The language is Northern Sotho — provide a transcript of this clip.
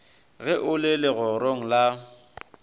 ge o le legorong la